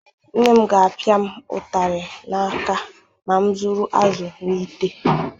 Nne m ga-apịa m ụtarị n'aka ma zuru azụ n'ite.